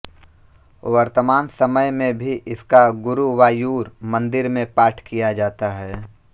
वर्तमान समय में भी इसका गुरुवायूर मन्दिर में पाठ किया जाता है